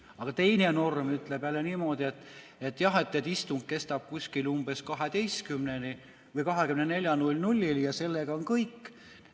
Aga teine norm ütleb jälle niimoodi, et istung kestab umbes 12‑ni või 24‑ni, ja sellega on kõik.